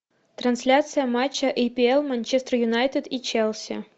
трансляция матча апл манчестер юнайтед и челси